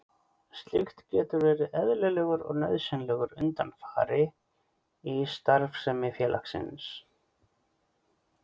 Slíkt getur verið eðlilegur og nauðsynlegur undanfari í starfsemi félagsins.